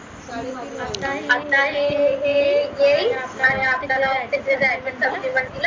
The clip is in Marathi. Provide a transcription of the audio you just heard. आता हे आणि आपल्याला